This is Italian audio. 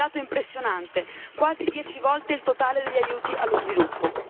Un dato impressionante quasi dieci volte il totale degli aiuti allo sviluppo